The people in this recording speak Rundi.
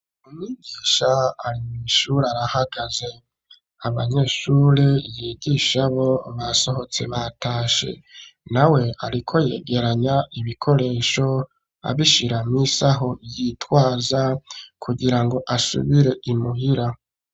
Umwigisha arimwishuri arahagaze, abanyeshure yigisha bo basohotse ,batashe nawe ariko yegeranya ibikoresho abishiramwo isaho, yitwaza kugira ngo asubire imuhira.